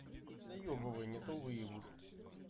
заёбывай не то выебут